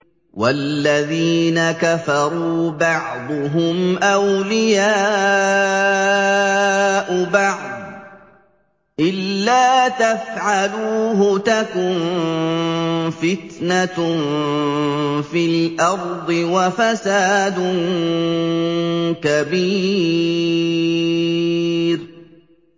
وَالَّذِينَ كَفَرُوا بَعْضُهُمْ أَوْلِيَاءُ بَعْضٍ ۚ إِلَّا تَفْعَلُوهُ تَكُن فِتْنَةٌ فِي الْأَرْضِ وَفَسَادٌ كَبِيرٌ